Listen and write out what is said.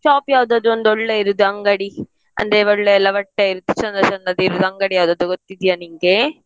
Shop ಯಾವುದಾದರೂ ಒಂದು ಒಳ್ಳೆದಿರೋದು ಅಂಗಡಿ ಅಂದ್ರೆ ಒಳ್ಳೆ ಎಲ್ಲ ಬಟ್ಟೆ ಚಂದ ಚಂದದ್ದು ಇರೋದು ಅಂತ ಅಂಗಡಿ ಯಾವುದಾದರೂ ಗೊತ್ತಿದ್ಯಾ ನಿಂಗೆ?